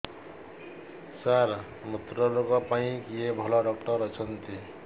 ସାର ମୁତ୍ରରୋଗ ପାଇଁ କିଏ ଭଲ ଡକ୍ଟର ଅଛନ୍ତି